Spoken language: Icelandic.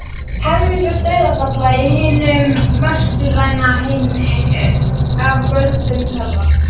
Helmingur dauðsfalla í hinum vestræna heimi er af völdum þeirra.